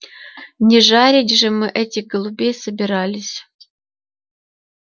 не жарить же мы этих голубей собирались